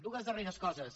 dues darreres coses